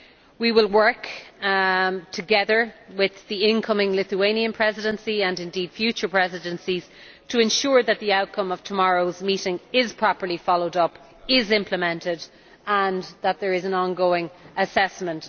We will work together with the incoming Lithuanian Presidency and future presidencies, to ensure that the outcome of tomorrow's meeting is properly followed up and implemented and that there is an ongoing assessment.